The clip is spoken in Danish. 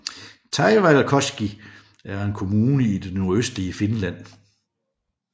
Taivalkoski er en kommune i det nordøstlige Finland